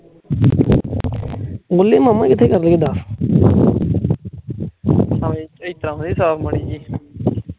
ਇੱਦਾ ਦਈਂ ਸ਼ਾਲ ਮਾੜੀ ਜੇਇ